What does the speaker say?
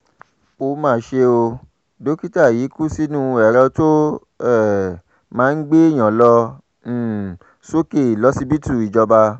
tìrìlónú kan náírà la ti rí kó jọ látìgbà tá a ti yọwọ́ ìrànwọ́ epo